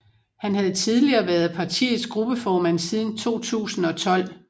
Han havde tidligere været partiets gruppeformand siden 2012